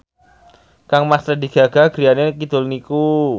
kangmas Lady Gaga griyane kidul niku